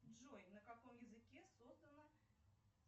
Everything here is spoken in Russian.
джой на каком языке создана